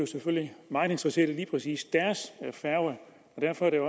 meget interesserede i lige præcis deres færge og derfor er